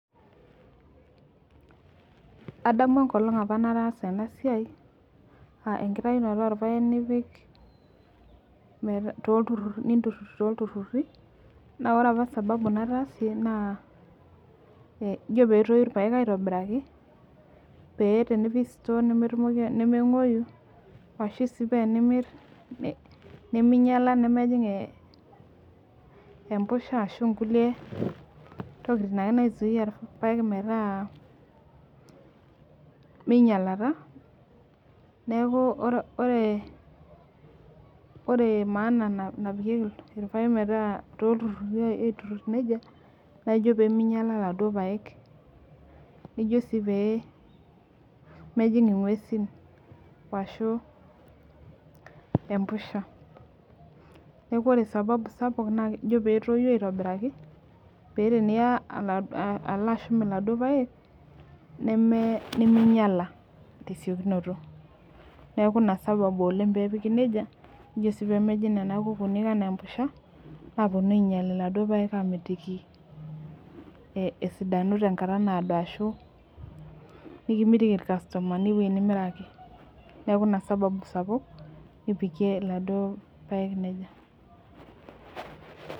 Adamu enkolong nataasa enasia aa enktaunoto orpaek nimturur toltururi naore apa sababu nataasie na kajo petoi irpaek aitobiraki peyie enipik sitor nemengueiyu ashu tenimir neminyala nemjing empusha ashu nkulie tokitin naisuyia irpaek metaa minyalata neaku ore maana napikieki irpaek toltururi aiturur nejia naijo peminyala laduo paek pemejing ongwesin ashu empusha neaku ore sababu sapuk na ino petoi aitobiraki pa ore pilo ashum laduo paek neminyala tesiokinoto neaku inasababu oleng pepiki nejia pemejing si nona kukuni ana empusha pemeponu ainyal laduo paek amitiki esidanu tenkata naado ashu nikimitiki irkastomani ewoi nimiraki neaku inasababu sapuk nipikie laduo paek nejia.